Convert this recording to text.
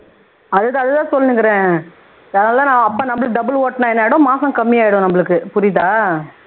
அதுக்காகத்தான் சொல்லுனுருக்கிறேன் double ஒட்டுனா என்ன ஆயிடும் மாசம் கம்மி ஆயிடும் நமக்கு புரியுதா